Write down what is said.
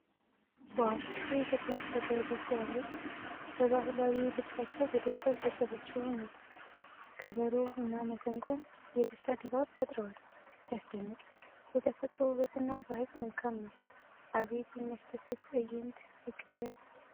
ዋው! የኢትዮጵያ ልጃገረዶች ሲያምሩ! በባህላዊ ልብሳቸው በደስታ ሲያጨበጭቡ ነው። ከበሮ እና መሰንቆ የደስታ ድባብ ፈጥረዋል። ሲያስደንቅ! የተፈጥሮ ውበት እና ባህል መልካም ነው። አቤት የሚያስደስት ትዕይንት! ፍቅር!